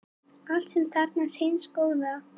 allt sem er þarfnast hins góða